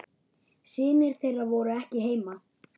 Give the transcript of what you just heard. Synir þeirra voru ekki heima.